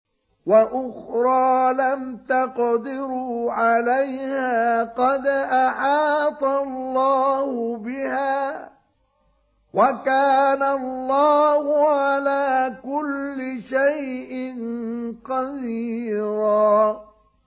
وَأُخْرَىٰ لَمْ تَقْدِرُوا عَلَيْهَا قَدْ أَحَاطَ اللَّهُ بِهَا ۚ وَكَانَ اللَّهُ عَلَىٰ كُلِّ شَيْءٍ قَدِيرًا